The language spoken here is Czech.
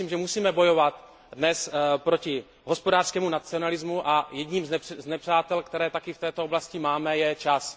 Já si myslím, že musíme bojovat dnes proti hospodářskému nacionalismu a jedním z nepřátel, které taky v této oblasti máme, je čas.